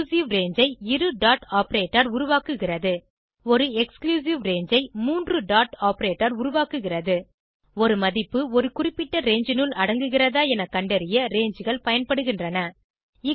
inclusive range ஐ இரு dot operator உருவாக்குகிறது ஒரு எக்ஸ்க்ளூசிவ் ரங்கே ஐ மூன்று டாட் ஆப்பரேட்டர் உருவாக்குகிறது ஒரு மதிப்பு ஒரு குறிப்பிட்ட ரங்கே னுள் அடங்குகிறதா என கண்டறிய Rangeகள் பயன்படுகின்றன